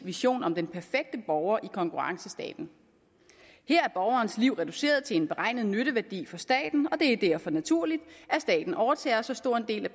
vision om den perfekte borger i konkurrencestaten her er borgerens liv reduceret til en beregnet nytteværdi for staten og det er derfor naturligt at staten overtager så stor en del af